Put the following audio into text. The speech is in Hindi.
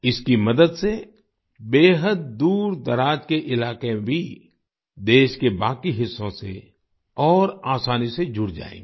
इसकी मदद से बेहद दूरदराज के इलाके भी देश के बाकी हिस्सों से और आसानी से जुड़ जाएंगे